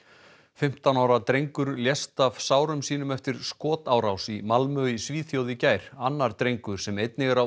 fimmtán ára drengur lést af sárum sínum eftir skotárás í Malmö í Svíþjóð í gær annar drengur sem einnig er á